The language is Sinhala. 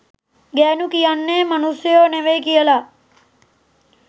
ගෑනු කියන්නේ මනුස්සයෝ නෙවෙයි කියලා.